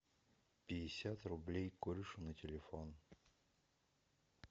пятьдесят рублей корешу на телефон